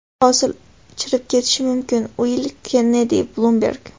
Hosil chirib ketishi mumkin”, Uill Kennedi, Bloomberg.